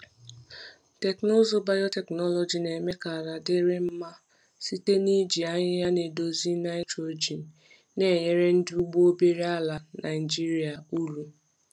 Teknụzụ biotechnology na-eme ka ala dịrị mma mma site n’iji ahịhịa na-edozi nitrogen, na-enyere ndị ugbo obere ala Naijiria uru.